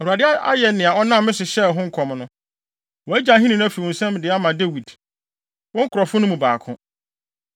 Awurade ayɛ nea ɔnam me so hyɛɛ ho nkɔm no. Wagye ahenni no afi wo nsam de ama Dawid, wo nkurɔfo no mu baako.